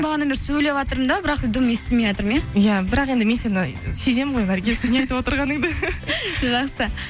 бағанадан бері сөйлеватырмын да бірақта дым естілмейатырмын иә иә бірақ енді мен сені сеземін ғой наргиз не айтып отырғаныңды жақсы